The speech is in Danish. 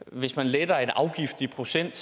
at hvis man letter en afgift i procent